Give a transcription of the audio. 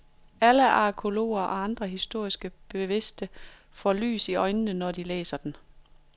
Alle arkæologer og andre historisk bevidste må få lys i øjenene, når de læser den.